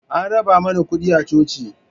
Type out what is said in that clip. An raba mana kuɗi a coci